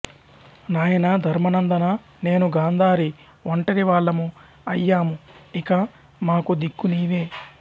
నాయనా ధర్మనందనా నేనూ గాంధారీ ఒంటరి వాళ్ళము అయ్యాము ఇక మాకు దిక్కు నీవే